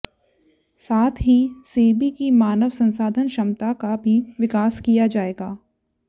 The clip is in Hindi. साथ ही सेबी की मानव संसाधन क्षमता का भी विकास किया जाएगा